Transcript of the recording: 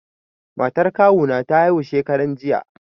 Matan kawu na ta haihu shekaran jiya.